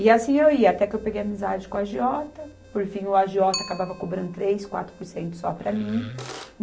E assim eu ia, até que eu peguei amizade com o agiota, por fim, o agiota acabava cobrando três, quatro por cento só para mim.